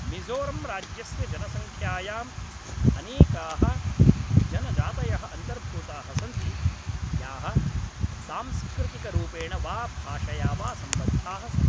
मिज़ोरम्राज्यस्य जनसंख्यायां अनेकाः जनजातयः अन्तर्भूताः सन्ति याः सांस्कृतिकरूपेण वा भाषया वा सम्बद्धाः सन्ति